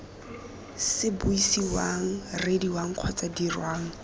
se buisiwang reediwang kgotsa dirwang